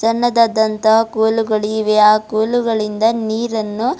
ಸಣ್ಣದಾದಂತ ಕೋಲುಗಳಿವೆ ಆ ಕೋಲುಗಳಿಂದ ನೀರನ್ನು--